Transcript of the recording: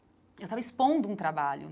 Eu estava expondo um trabalho.